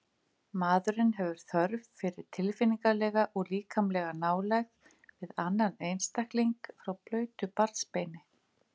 Maðurinn hefur þörf fyrir tilfinningalega og líkamlega nálægð við annan einstakling frá blautu barnsbeini.